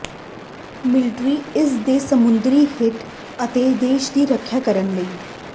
military ਇਸ ਦੇ ਸਮੁੰਦਰੀ ਹਿੱਤ ਅਤੇ ਦੇਸ਼ ਦੀ ਰੱਖਿਆ ਕਰਨ ਲਈ